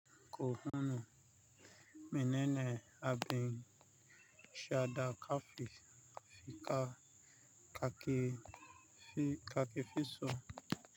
Ko hunu, mene ne abin shaɗa kafin kakefi so?